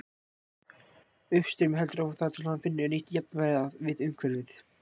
Uppstreymið heldur áfram þar til hann finnur nýtt jafnvægi við umhverfið.